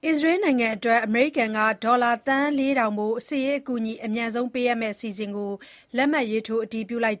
အစ္စရေးနိုင်ငံအတွက် အမေရိကန်က ဒေါ်လာသန်း ၄ ထောင်ဖိုး စစ်ရေးအကူအညီ အမြန်ပေးအပ်မယ့် အစီအစဉ်ကို လက်မှတ်ရေးထိုး အတည်ပြုလိုက်